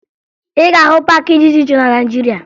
Ị ga-ahụ paakị dị iche iche na Naịjirịa